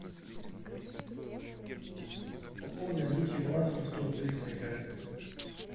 пополни андрюхе баланс на сто рублей с моей карты